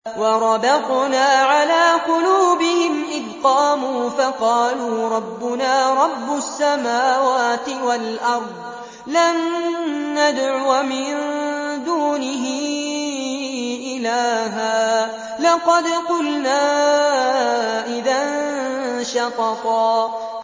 وَرَبَطْنَا عَلَىٰ قُلُوبِهِمْ إِذْ قَامُوا فَقَالُوا رَبُّنَا رَبُّ السَّمَاوَاتِ وَالْأَرْضِ لَن نَّدْعُوَ مِن دُونِهِ إِلَٰهًا ۖ لَّقَدْ قُلْنَا إِذًا شَطَطًا